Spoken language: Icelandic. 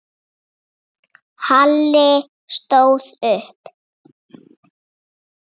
Halli stóð upp.